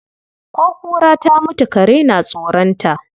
Ko kura ta mutu kare na tsoron ta.